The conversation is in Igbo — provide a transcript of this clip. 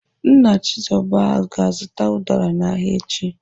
Nna Chizoba ga-azụta ụdara n'ahịa echi.